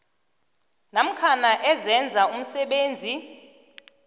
namkha ezenza umsebenzi